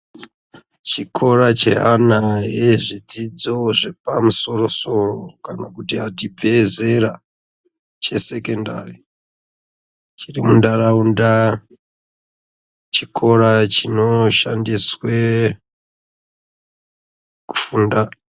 Chikora cheana ezvedzidzo zvepamusoro-soro kana kuti abve zera chesekondari uchiri mundaraunda chikora chinoshandiswe kufunda .